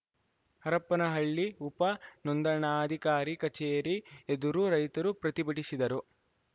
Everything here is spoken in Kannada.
ಹರಪನಹಳ್ಳಿ ಉಪ ನೋಂದಣಾಧಿಕಾರಿ ಕಚೇರಿ ಎದುರು ರೈತರು ಪ್ರತಿಭಟಿಸಿದರು